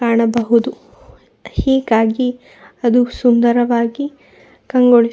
ಕಾಣಬಹುದು ಹೀಗಾಗಿ ಅದು ಸುಂದರವಾಗಿ ಕಂಗೊಳಿಸು--